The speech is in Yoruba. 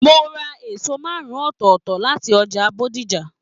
Mo ra èso márùn-ùn ọ́tọ́ọtọ́ láti ọjà Bódìjà.